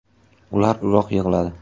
Ular uzoq yig‘ladi.